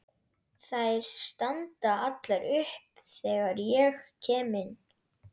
Þær standa allar upp þegar ég kem inn.